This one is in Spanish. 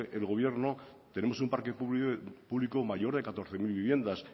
el gobierno tenemos un parque público mayor de catorce mil viviendas